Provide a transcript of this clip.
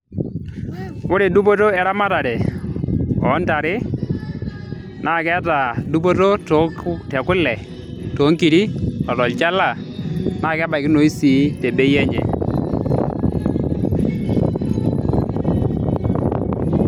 Ore dupoto eramatare oontare naa keeta dupoto tekule, toonkiri o tolchala naa kebaikinoi sii tebei enye.